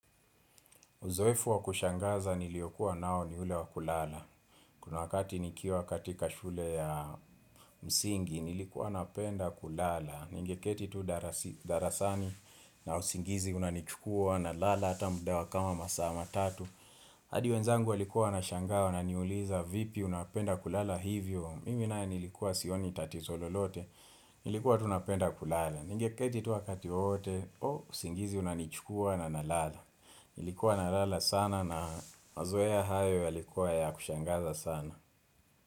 Uzoefu wa kushangaza niliyokuwa nao ni ule wa kulala. Kuna wakati nikiwa katika shule ya msingi, nilikuwa napenda kulala. Ningeketi tu darasi darasani na usingizi unanichukua nalala hata muda wa kama masaa tatu. Hadi wenzangu walikuwa wanashangaa wananiuliza vipi unapenda kulala hivyo. Mimi nae nilikuwa sioni tatizo lolote, nilikuwa tu napenda kulala. Ningeketi tu wakati wowote usingizi unanichukua na nalala. Nilikuwa nalala sana na mazoea hayo yalikuwa ya kushangaza sana.